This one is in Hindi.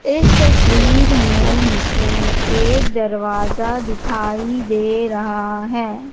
इस तस्वीर में मुझे एक दरवाजा दिखाई दे रहा है।